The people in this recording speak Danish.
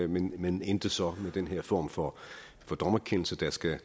men men endte så med den form for dommerkendelse der skal